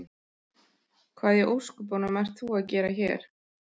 Hvað í ósköpunum ert þú að gera hér?